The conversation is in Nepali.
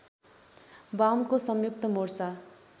वामको संयुक्त मोर्चा